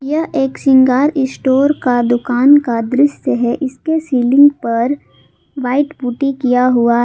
यह एक श्रृंगार स्टोर का दुकान का दृश्य है इसके सीलिंग पर व्हाइट पुट्टी किया हुआ--